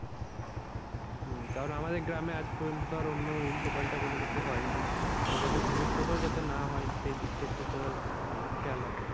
হম কারণ আমাদের গ্রামে আজ পর্যন্ত ধর অন্য উল্টো পাল্টা কোনো কিছু হয়নি। তো যাতে ভবিষ্যতেও যাতে না হয় সেই দিকটা একটু তোরা মানে খেয়াল রাখিস।